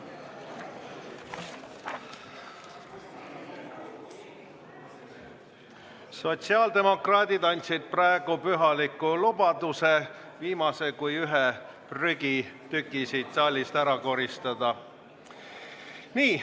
Sotsiaaldemokraadid andsid praegu pühaliku lubaduse viimase kui ühe prügitüki siit saalist ära koristada.